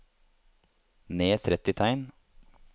Ned tretti tegn